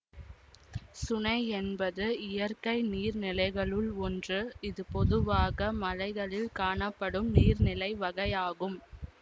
சுனை என்பது இயற்கை நீர் நிலைகளுள் ஒன்று இது பொதுவாக மலைகளில் காணப்படும் நீர்நிலை வகையாகும்